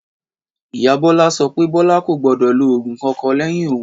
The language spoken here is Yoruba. Ìyá Bólá so pé Bólá kò gbódò lo ògùn kankan léyìn òun